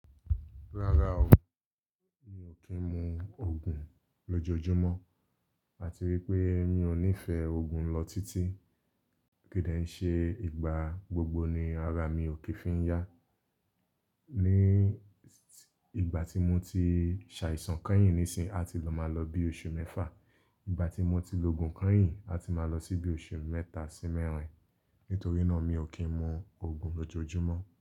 Rárá o, mi ò kí ń mu Ògùn lójoojúmọ́, àti wípé mi ò nífẹ̀ẹ́ Ògùn lọ títí. Kìídí ṣe ìgbà gbogbo ni ara mi ò kì í fi ń yá. Ni ìgbà tí mo ti ṣàìsàn kányìn nísìí, a ti máa lọ bí oṣù mẹ́fà. Ìgbà tí mo ti lo ògùn kányìn, a ti máa lọ síbí oṣù mẹ́ta sí mẹ́rin. Nítorí náà mi ò kí ń mu Ògùn lójoojúmọ́